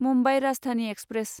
Mumbai Rajdhani express